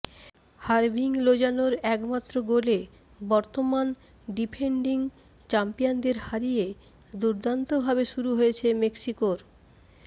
হার্ভিং লোজানোর একমাত্র গোলে বর্তমান ডিফেন্ডিং চ্যাম্পিয়নদের হারিয়ে দুর্দান্তভাবে শুরু হয়েছে মেক্সিকোর